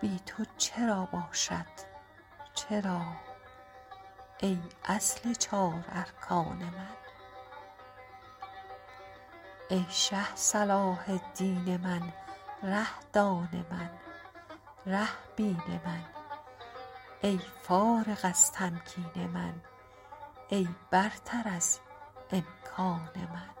بی تو چرا باشد چرا ای اصل چار ارکان من ای شه صلاح الدین من ره دان من ره بین من ای فارغ از تمکین من ای برتر از امکان من